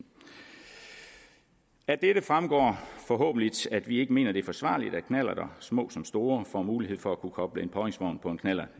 af dette fremgår forhåbentlig at vi ikke mener at det er forsvarligt at knallerter små som store får mulighed for at kunne koble en påhængsvogn på en knallert